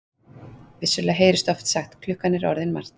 Vissulega heyrist oft sagt: klukkan er orðin margt.